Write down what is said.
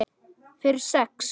Fyrir sex?